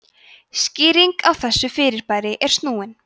skýring á þessu fyrirbæri er snúin